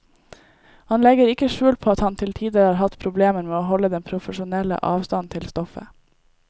Han legger ikke skjul på at han til tider har hatt problemer med å holde den profesjonelle avstand til stoffet.